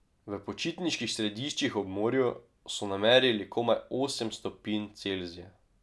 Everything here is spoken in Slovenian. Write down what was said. V počitniških središčih ob morju so namerili komaj osem stopinj Celzija.